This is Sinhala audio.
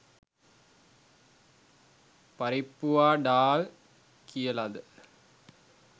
පරිප්පුවා ඩාල් කියලද